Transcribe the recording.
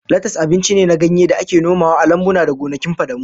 Latas abinci ne na ganye da ake nomawa a lambuna da gonakin fadamu